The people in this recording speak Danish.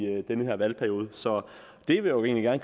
den her valgperiode så det vil jeg